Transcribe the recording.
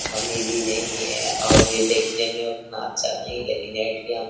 कमी भी नहीं है और ये देखने में उतना अच्छा नहीं लेकिन ए.टी.एम. --